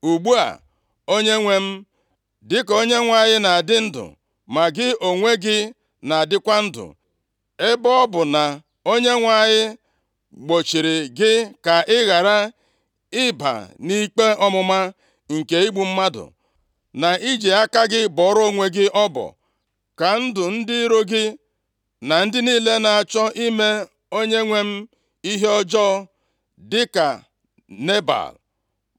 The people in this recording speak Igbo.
Ugbu a, onyenwe m, dịka Onyenwe anyị na-adị ndụ ma gị onwe gị na-adịkwa ndụ, ebe ọ bụ na Onyenwe anyị gbochiri gị ka ị ghara ịba nʼikpe ọmụma nke igbu mmadụ, na iji aka gị bọrọ onwe gị ọbọ, ka ndụ ndị iro gị na ndị niile na-achọ ime onyenwe m ihe ọjọọ, dịka Nebal.